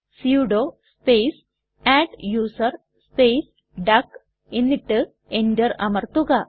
sudo space adduser space duck എന്നിട്ട് enter അമർത്തുക